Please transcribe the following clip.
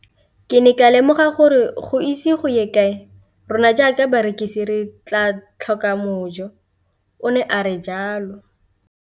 Ke ne ka lemoga gore go ise go ye kae rona jaaka barekise re tla tlhoka mojo, o ne a re jalo.